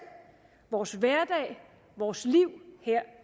vores hverdag vores liv her